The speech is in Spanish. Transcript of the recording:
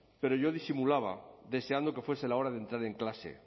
pero yo disimulaba deseando que fuese la hora de entrar en clase